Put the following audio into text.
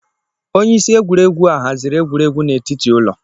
Onye isi egwuregwu a haziri egwuregwu n'etiti ụlọ.